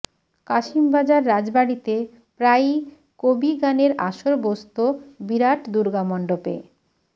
কাশিমবাজার রাজবাড়ীতে প্রায়ই কবি গানের আসর বসত বিরাট দুর্গামন্ডপে